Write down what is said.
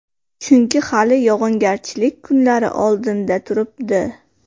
Chunki hali yog‘ingarchilik kunlari oldinda turibdi.